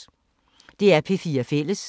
DR P4 Fælles